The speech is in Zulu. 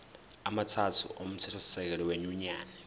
amathathu omthethosisekelo wenyunyane